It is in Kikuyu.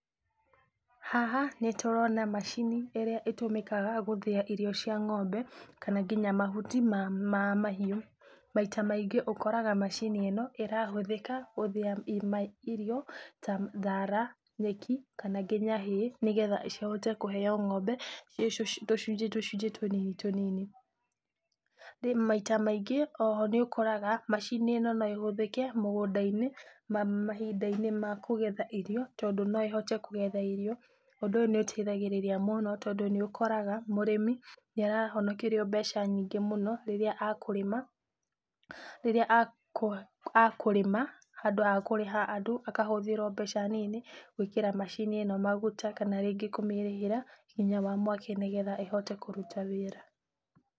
Haha nĩ tũrona macini ĩrĩa ĩtũmĩkaga gũthĩa irio cia ng'ombe, kana nginya mahuti ma mahiũ. Maita maingĩ ũkoraga macini ĩno ĩrahũthĩka gũthĩa irio ta thaara, nyeki kana nginya hay nĩgetha cihote kũheo ng'ombe, irio icio ci tũcunjĩ tũcunjĩ tũnini tũnini. Rĩu maita maingĩ oho nĩ ũkoraga macini ĩno no ĩhũthĩke mũgũnda-inĩ mahinda-inĩ ma kũgetha irio tondũ no ĩhote kũgetha irio. Ũndũ ũyũ nĩ ũteithagĩrĩria mũno tondũ nĩ ũkoraga mũrĩmi nĩ arahonokerio mbeca nyingĩ mũno rĩrĩa akũrĩma, rĩrĩa akũrĩma handũ ha kũrĩha andũ akahũthĩra o mbeca nini gũĩkĩra maguta kana rĩngĩ kũmĩrĩhĩra hinya wa mwaki nĩgetha ĩhote kũruta wĩra.